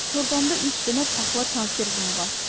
Torbamda üç dənə paxla konservim var.